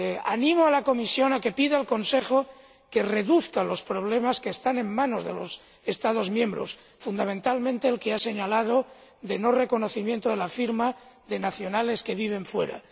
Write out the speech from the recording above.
Animo a la Comisión a que pida al Consejo que reduzca los problemas que están en manos de los Estados miembros, fundamentalmente el que ha señalado de no reconocimiento de la firma de los nacionales que viven fuera.